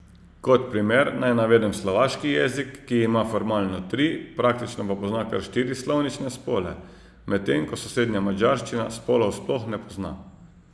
Kot primer naj navedem slovaški jezik, ki ima formalno tri, praktično pa pozna kar štiri slovnične spole, medtem ko sosednja madžarščina spolov sploh ne pozna.